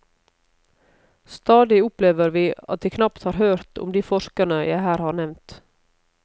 Stadig opplever vi at de knapt har hørt om de forskerne jeg her har nevnt.